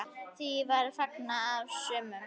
Því var fagnað af sumum.